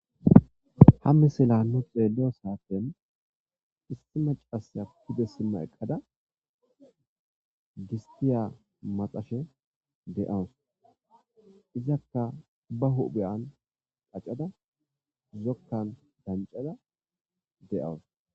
ha misila nu xeelliyo saten issi macasa pide simma eqqada gistiya maxashe de7awus izakka ba hubheyan qaccada zokkan dancada de7awus